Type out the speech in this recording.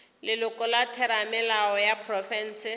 leloko la theramelao ya profense